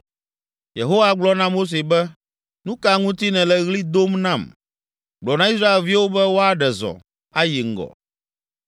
Yehowa gblɔ na Mose be, “Nu ka ŋuti nèle ɣli dom nam? Gblɔ na Israelviwo be woaɖe zɔ, ayi ŋgɔ